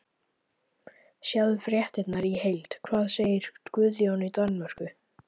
Sjá fréttina í heild: Hvað segir Guðjón í Danmörku?